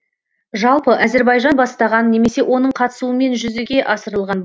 жалпы әзірбайжан бастаған немесе оның қатысуымен жүзеге асырылған